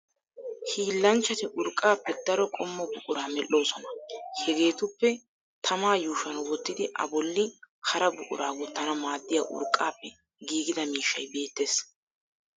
Hiilanchchati urqqaappe daro qommo buquraa medhdhoosona. Hegeetuppe tamaa yuushuwan wottidi a bolli hara buquraa wottana maaddiya urqqaappe giigida miishshay beettes.